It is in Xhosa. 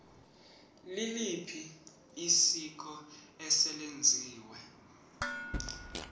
liliphi isiko eselenziwe